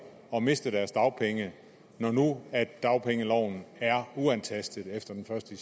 at miste deres dagpenge når nu dagpengeloven er uantastet efter den første